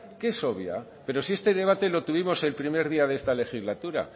que es obvia pero si este debate lo tuvimos el primer día de esta legislatura